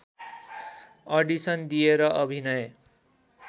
audition दिएर अभिनय